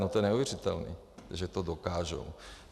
No to je neuvěřitelné, že to dokáže.